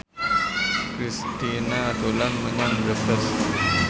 Kristina dolan menyang Brebes